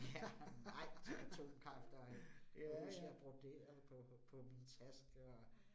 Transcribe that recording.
Ja, nej til atomkraft kan jeg huske, at jeg broderede på på min taske og